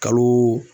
Kalo